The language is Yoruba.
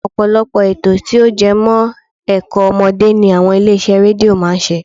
Ọ̀pọ̀lọpọ̀ ètò tí ó jẹmọ́ ẹ̀kọ́ ọmọdé ni àwọn ilé iṣẹ́ rédíó máa ń ṣe